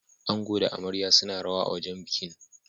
Ango da amaryar suna rawa a wajen bikin.